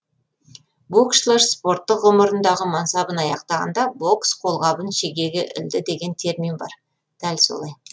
боксшылар спорттық ғұмырындағы мансабын аяқтағанда бокс қолғабын шегеге ілді деген термин бар дәл солай